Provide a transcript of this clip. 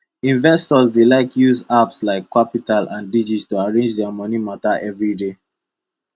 investors dey like use apps like qapital and digit to arrange their moni matter every day